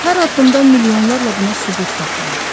Hər addımda milyonlarla buna sübut tapılar.